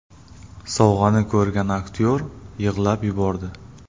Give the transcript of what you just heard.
Sovg‘ani ko‘rgan aktyor yig‘lab yubordi .